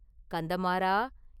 கந்தமாறா!